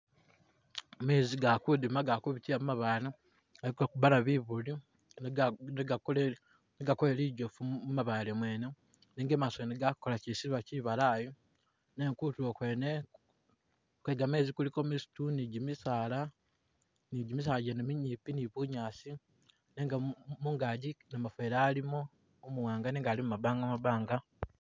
Mezi gakudima gakubitila mumabale gakukubana bibuli negakole lijofu mumabale Mwene nenga imaso gakola kyisuba kyibalayi nenga kutulo kwene kwegamezi kuliko misitu ni jimisala gene minyimpi ni bunyasi , nenga mungaji namufeli alimo umuwanga nenga ali mu’mabanga mabanga